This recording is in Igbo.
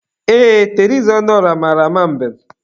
Ee, Teresa Ọnụọrah mara ama mbem.